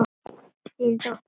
Þín dóttir, Vala.